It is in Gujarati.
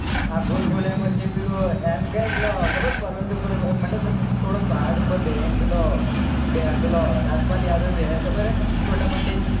આ ભૂલ ભુલાઈઆ માં જે પેલો એમ કેને પેલો ખબર હ પર્વત ઉપર મતલબ ક થોડો પહાડ ઉપર બેહીન પેલો પેલો રાજપાલ યાદવ બેહે ખબર હે છોટા પંડિત